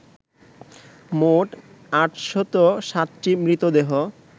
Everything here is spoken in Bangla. মোট ৮০৭টি মৃতদেহ